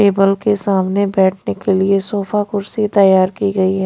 table के सामने बैठने के लिए सोफा कुर्सी तैयार की गई--